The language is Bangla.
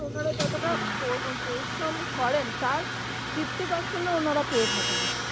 ওনারা যতটা পরিশম করেন তার fifty percent ও ওনারা পেয়ে থাকেন না